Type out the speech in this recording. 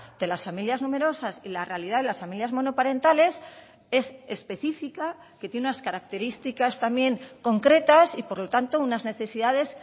de las familias numerosas y la realidad de las familias monoparentales es específica que tiene unas características también concretas y por lo tanto unas necesidades